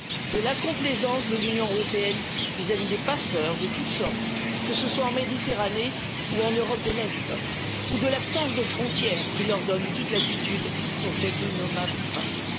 de la complaisance de l'Union européenne vis à vis des passeurs de toutes sortes, que ce soit en Méditerranée ou en Europe de l'Est, ou de l'absence de frontières, qui leur donne toute latitude pour cet innommable trafic.